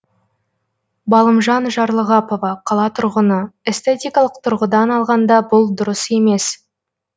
балымжан жарлығапова қала тұрғыны эстетикалық тұрғыдан алғанда бұл дұрыс емес